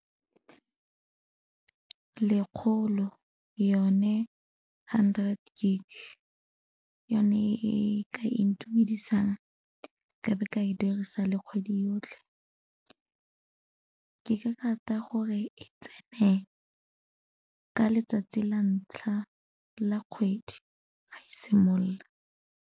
Lekgolo, yone hundred gig. Yone e ka intumedisang, ka be ka e dirisa le kgwedi yotlhe. Ke ka rata gore e tsene ka letsatsi la ntlha la kgwedi ga e simolola.